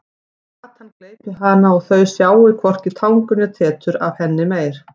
Að gatan gleypi hana og þau sjái hvorki tangur né tetur af henni meir.